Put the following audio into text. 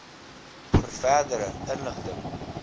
vir verdere inligting